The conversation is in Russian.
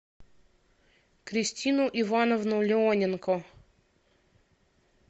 кристину ивановну леоненко